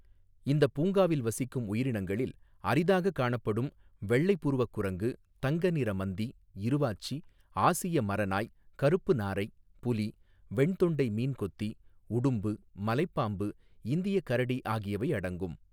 இந்தப் பூங்காவில் வசிக்கும் உயிரினங்களில் அரிதாகக் காணப்படும் வெள்ளைப் புருவக் குரங்கு, தங்க நிற மந்தி, இருவாச்சி, ஆசிய மரநாய், கருப்பு நாரை, புலி, வெண்தொண்டை மீன்கொத்தி, உடும்பு, மலைப் பாம்பு, இந்தியக் கரடி ஆகியவை அடங்கும்.